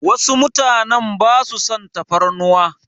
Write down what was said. Wasu mutanen basa son tafarnuwa.